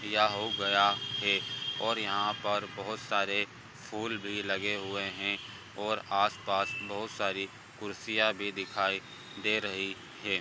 या हो गया है और यहाँ पर बहुत सारे फूल भी लगे हुए है और आस-पास बहुत सारी कुर्सियाँ भी दिखाई दे रही है।